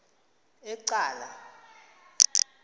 ecala